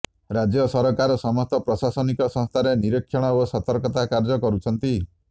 ରାଜ୍ୟ ସରକାର ସମସ୍ତ ପ୍ରଶାସନିକ ସଂସ୍ଥାରେ ନିରିକ୍ଷଣ ଓ ସତର୍କତା କାର୍ଯ୍ୟ କରୁଛନ୍ତି